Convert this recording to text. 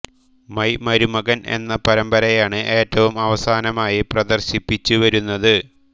my മരുമകൻ എന്ന പരമ്പരയാണ് ഏറ്റവും അവസാനമായി പ്രദർശിപ്പിച്ചു വരുന്നത്